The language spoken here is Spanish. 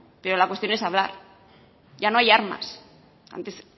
pero la cuestión es hablar ya no hay armas antes